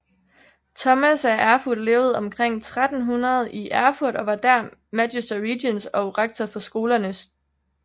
Thomas af Erfurt levede omkring 1300 i Erfurt og var dér Magister Regiens og rektor for skolerne St